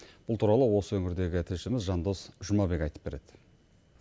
бұл туралы осы өңірдегі тілшіміз жандос жұмабек айтып береді